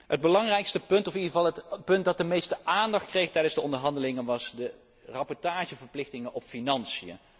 Het belangrijkste punt, of in ieder geval het punt dat de meeste aandacht kreeg tijdens de onderhandelingen, betrof de rapportageverplichtingen over financiën.